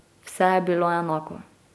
Vse je bilo enako.